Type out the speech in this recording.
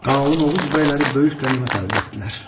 Qalın oğuz bəyləri böyük qənimət əldə etdilər.